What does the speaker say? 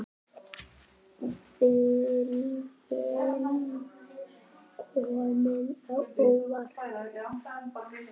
Viljinn kemur á óvart.